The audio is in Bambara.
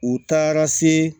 U taara se